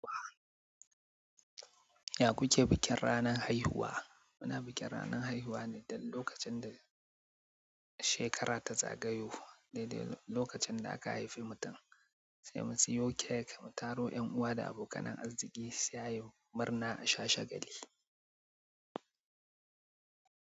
Ya ku ke bikin ranan haihuwa? Muna bikin ranan haihuwa ne don lokacin da shekara ta zagayo daidai lokacin da aka haifi mutum. Sai mu siyo cake, mu taro 'yan uwa da abokanan arziki sai ayi murna a sha shagali.